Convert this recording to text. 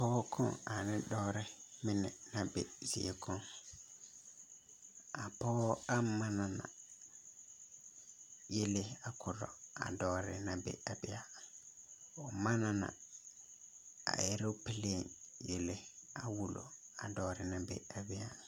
Pɔge koŋ ane dɔɔre mine na be zie koŋ a pɔge a manna yele a koro a dɔɔre na be a bee o manna eelopɛlee yele a wulo a dɔɔre na be a be a.